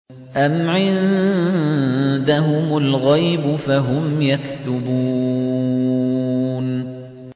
أَمْ عِندَهُمُ الْغَيْبُ فَهُمْ يَكْتُبُونَ